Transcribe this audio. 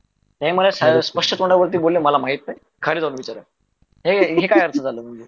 हे मला स्पष्ट तोंडावरती बोलेले मला माहित नाही खाली जाऊन विचार हे काय अर्थ झाला